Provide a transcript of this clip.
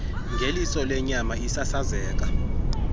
ngeliso lenyama isasazeka